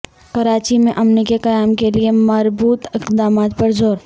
کراچی میں امن کے قیام کے لیے مربوط اقدامات پر زور